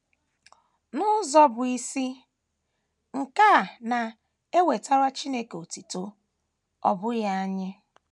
N’ụzọ bụ́ isi, nke a na - ewetara Chineke otuto, ọ bụghị anyị.